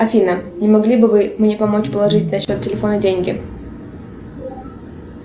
афина не могли бы вы мне помочь положить на счет телефона деньги